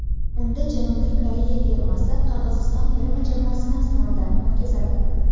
Unda Janubiy Koreya termasi Qirg‘iziston terma jamoasini sinovdan o‘tkazadi.